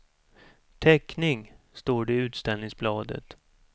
Teckning, står det i utställningsbladet.